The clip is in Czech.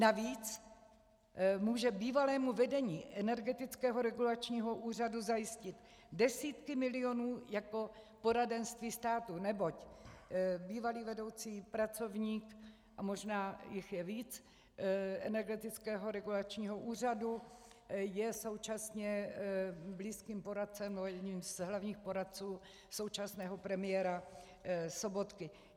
Navíc může bývalému vedení Energetického regulačního úřadu zajistit desítky milionů jako poradenství státu, neboť bývalý vedoucí pracovník, a možná jich je víc, Energetického regulačního úřadu je současně blízkým poradcem, nebo jedním z hlavních poradců, současného premiéra Sobotky.